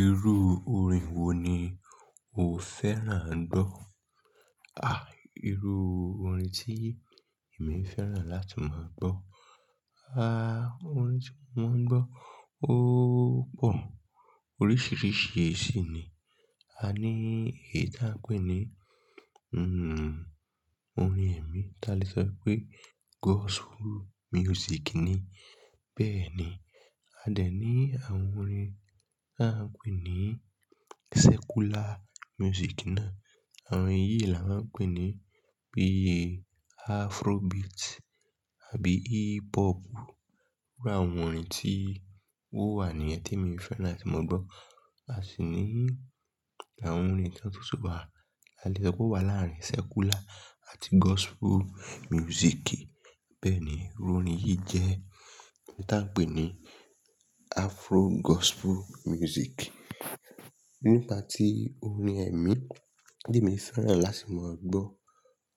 Irú orin wo ni o fẹ́ràn gbọ́? À, irú orin tí èmi fẹ́ràn láti máa gbọ́. Àá orin tí mo máa ń gbọ́ ó pọ̀. Oríṣìíríṣìí ṣi ni. A ní èyí tí a ń pè ní, orin ẹ̀mí. Ti a lè sọ pé gospel music ni. Bẹ́ẹ̀ ni. A dẹ̀ ní àwọn orin tí a ń pè ní secular music náà. Àwọn eyìí là ń pè ní bíi Afrobeat àbí hip hop. Iru àwọn orin tí ó wà níyẹn tí èmi fẹ́ràn láti máa gbọ́. A sì ní àwọn orin kan tún ti wa, ti a lè sọ pé ó wà láàrin secular àti gospel music. Bẹ́ẹ̀ ni, irú orin yìí jẹ́ ohun tí a ń pè ní Afro gospel music. Nípa tí orin ẹ̀mí tí èmi fẹ́ràn láti máa gbọ́,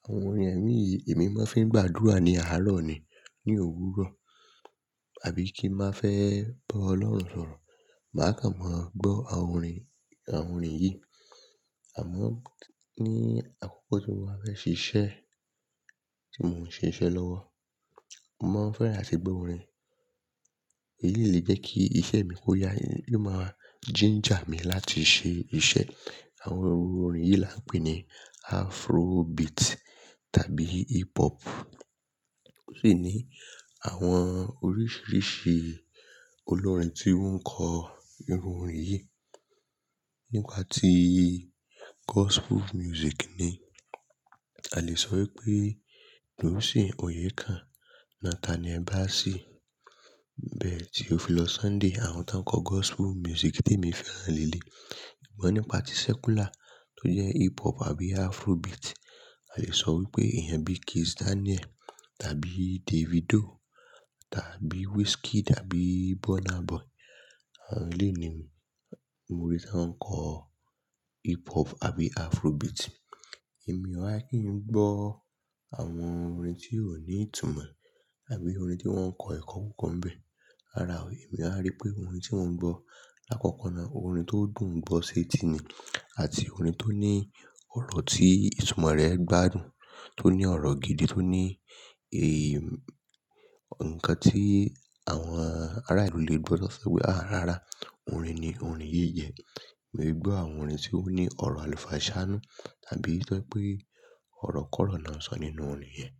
àwọn orin ẹ̀mí yìí èmi máa ń fẹ́ gbàdúrà ní àárọ̀ ni ní òwúrọ̀, àbí ti n fẹ́ bá Ọlọ́run sọ̀rọ̀, màá kàn mọ́ gbọ́ àwọn orin, àwọn orin yìí. Àmọ́ ní àkókò tí mo bá fẹ́ ṣíṣe, tí mò ń ṣe iṣẹ́ lọ́wọ́, mò ń fẹ́ràn àti gbọ́ orin èyí tó lè jẹ́ kí isẹ́ mi ó yá, yóò máa ginger mi láti ṣe isẹ́. Àwọn orin yìí là ń pè ní Afrobeat tàbí hip hop. Ó sì ní àwọn oríṣìíríṣìí olórin tí wọ́n ń kọ irú orin yìí. Nípa tí gospel music ni, a lè sọ wípé Dunsìn Oyekan, Nathaniel Bassey, Theophilus Sunday, àwọn tí ń kọ gospel music tí èmi fẹ́ràn léèlé. Sugbon nípa tí secular tó jẹ́ hip hop àbí Afrobeat, a lè sọ wípé ẹ̀yàn bíi Kizz Daniel, tàbí Davido, tàbí Wizkid, àbí Burna Boy. Àwọn eleyi ni mo rí tí wọ́n ń kọ hip hop àbí Afrobeat. Èmi ò wa kí n gbọ́ àwọn orin tí ò ní ìtumọ̀ àbí orin tí wọ́n ń kọ ẹ̀kọ́ kankan bẹ́ẹ̀. Rárá o, èmi a rí pé orin tí mò ń gbọ́, lákọ̀ọ̀kan náà orin tó dùn gbọ́ ṣe ti ni, àti orin tó ní ọ̀rọ̀ tí ìtumọ̀ rẹ̀ gbádùn, tó ní ọ̀rọ̀ gidi, tó ní. Ǹkan tí àwọn ará ìlú lè gbọ́ sọ́ pé "àá rárá, orin ni orin yìí jẹ́". Èmi ò lè gbọ́ àwọn orin tí ó ní ọ̀rọ̀ àlùfàǹsáà nú tàbí to jẹ pé ọ̀rọ̀ kọ̀rọ̀ ni wọn sọ nínú orin yẹn.